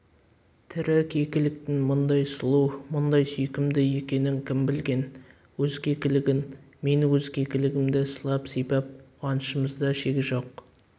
тірі кекіліктің мұндай сұлу мұндай сүйкімді екенін кім білген өз кекілігін мен өз кекілігімді сылап-сипап қуанышымызда шек жоқ